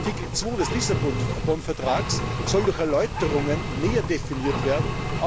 Artikel 2 des Lissabon Vertrags soll durch Erläuterungen näher definiert werden.